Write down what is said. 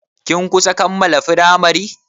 Kin kusan kammala firamari?